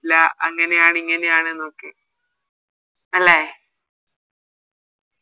ലാ അങ്ങനെയാണ് ഇങ്ങനെയാണ് ന്നൊക്കെ അല്ലെ